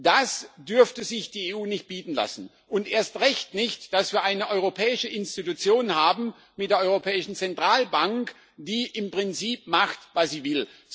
Das dürfte sich die EU nicht bieten lassen. Erst recht nicht, dass wir eine europäische Institution haben mit der Europäischen Zentralbank die im Prinzip macht, was sie will.